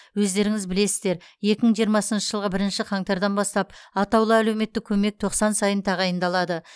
өздеріңіз білесіздер екі мың жиырмасыншы жылғы бірінші қаңтардан бастап атаулы әлеуметтік көмек тоқсан сайын тағайындалады